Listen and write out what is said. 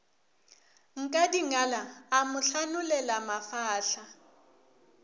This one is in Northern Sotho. nkadingala a mo hlanolela mafahla